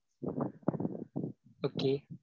Okay.